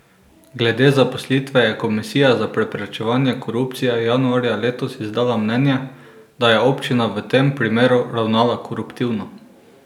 Glede zaposlitve je Komisija za preprečevanje korupcije januarja letos izdala mnenje, da je občina v tem primeru ravnala koruptivno.